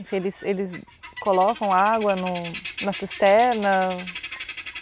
Eles eles colocam água no na cisterna?